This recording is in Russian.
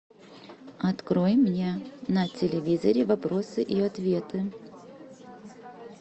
открой мне на телевизоре вопросы и ответы